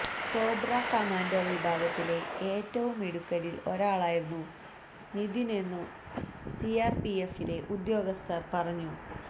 cobra commando വിഭാഗത്തിലെ ഏറ്റവും മിടുക്കരിൽ ഒരാളായിരുന്നു നിതിനെന്നു സിആർപിഎഫിലെ ഉദ്യോഗസ്ഥൻ പറഞ്ഞു